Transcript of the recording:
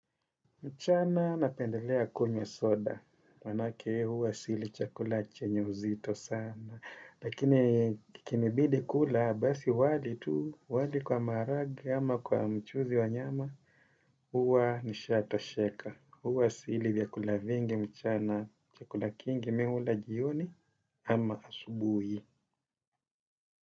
Mchana napendelea kunywa soda, manake huwa sili chakula chenyo uzito sana. Lakini kikinibidi kula, basi wali tu, wali kwa marage ama kwa mchuzi wa nyama, huwa nishatosheka. Huwa sili vyakula vingi mchana chakula kingi mimi hula jioni ama asubuhi.